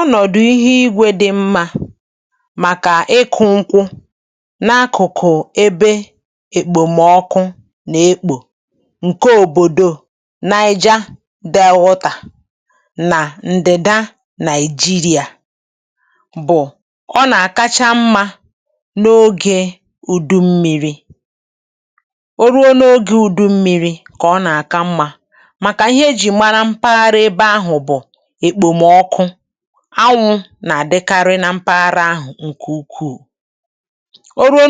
Ọnọdụ̀ kacha mma maka ịkụ̀ nkwụ bụ̀ n’ime ọhịa mmiri na mpaghara ọkụ̀ nke Naịjíríà, ọkachasị na ndịda. Ọ̀ na-eme nke ọma n’oge ụ̀dụ̀ mmiri. Mgbe ụ̀dụ̀ mmiri bịara, ọ na-eme nke ọma, ọ na-eme nke ọma, n’ihi na nke ahụ bụ ihe e ji mara mpaghara ahụ. N’ebe ahụ̀, ànyà na-apụtakàrị, mmiri ozuzo na-adịkwa ọtụtụ.